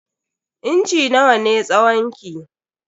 Inci nawa ne tsawon ki?